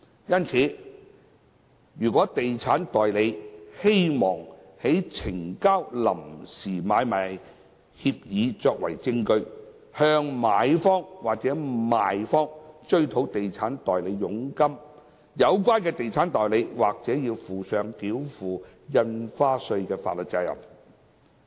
因此，如果地產代理希望呈交臨時買賣協議作為證據，向買方或賣方追討地產代理佣金，有關地產代理或須負上繳付印花稅的法律責任。